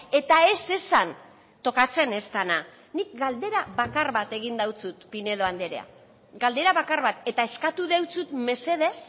eta ez esan tokatzen ez dena nik galdera bakar bat egin deutsut pinedo andrea galdera bakar bat eta eskatu deutsut mesedez